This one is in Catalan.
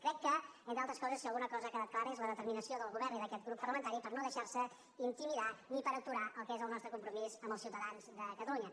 crec que entre altres coses si alguna cosa ha quedat clara és la determinació del govern i d’aquest grup parlamentari per no deixarse intimidar ni per aturar el que és el nostre compromís amb els ciutadans de catalunya